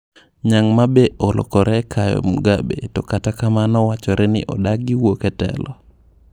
Nyang' ma be olokore kayo Mugabe to kata kamano wachore ni odagi wuok e telo.